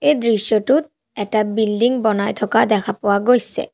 এই দৃশ্যটোত এটা বিল্ডিং বনাই থকা দেখা পোৱা গৈছে।